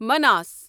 مناس